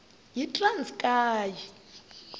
yitranskayi